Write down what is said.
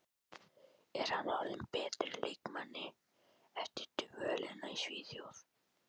Er hann orðinn að betri leikmanni eftir dvölina í Svíþjóð?